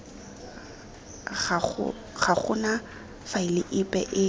ga gona faele epe e